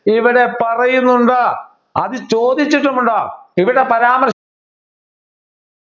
ഇവിടെ പറയുന്നുണ്ട് അത് ചോദിച്ചിട്ടും ഉണ്ട് ഇവിടെ പരാമർ